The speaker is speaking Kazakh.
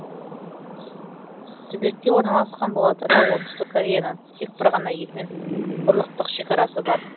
түбекте орналасқан бола тұра оңтүстік кореяның тек бір ғана елмен құрлықтық шекарасы бар